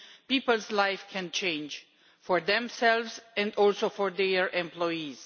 people's lives can change for themselves and also for their employees.